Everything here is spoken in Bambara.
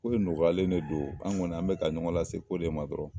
Kow nɔgɔyalen de do an kɔni an bɛ ka ɲɔgɔn lase ko de ma dɔrɔn.